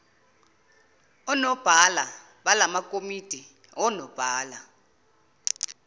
onobhala balamakomidi onobhala